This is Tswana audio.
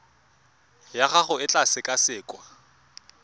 ya gago e tla sekasekwa